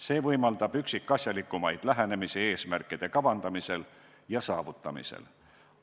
See võimaldab üksikasjalikumat lähenemist eesmärkide kavandamisel ja saavutamisel.